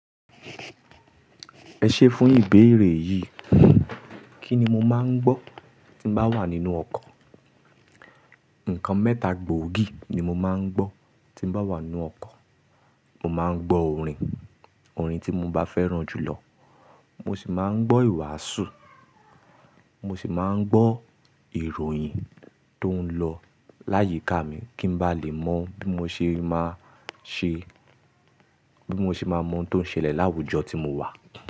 Ẹ ṣé fún ìbéèrè yìí. Kí ni mo máa ń gbọ́ tí mo bá wà nínú ọkọ̀? Ǹkan mẹ́ta gbòógì ni mo máa ń gbọ́ tí mo bá wà nínú ọkọ̀. Mo máa ń gbọ́ orin, orin tí mo bá fẹ́ràn jù lọ. Mo sì máa ń gbọ́ ìwàásù. Mo sì máa ń gbọ́ ìròyìn tó ń lọ láyìíká mi kí n bá lè mọ bí mo ṣe máa mọ tóún ṣẹlẹ̀ láwùjọ tí mo wà.